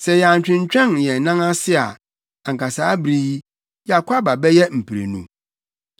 Sɛ yɛantwentwɛn yɛn nan ase a, anka saa bere yi, yɛakɔ aba bɛyɛ mprenu.”